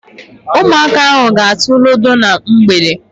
Ụmụaka ahụ ga-atụ ludo na mgbede.